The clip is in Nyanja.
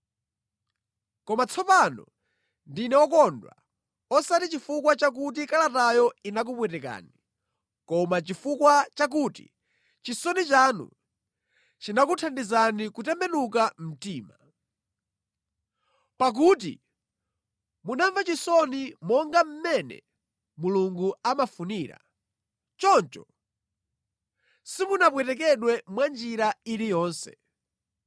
Koma tsopano ndine wokondwa, osati chifukwa chakuti kalatayo inakupwetekani, koma chifukwa chakuti chisoni chanu chinakuthandizani kutembenuka mtima. Pakuti munamva chisoni monga mmene Mulungu amafunira, choncho simunapwetekedwe mwanjira iliyonse.